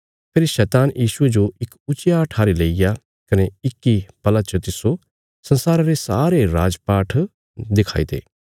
फेरी शैतान यीशुये जो इक ऊच्चिया ठारी लैईया कने इक्की पला च तिस्सो संसारा रे सारे राज पाठ दखाई ते